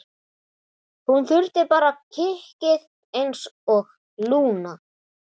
Hún þurfti bara kikkið einsog Lúna.